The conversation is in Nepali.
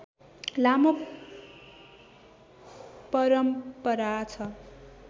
लामो परम्परा छ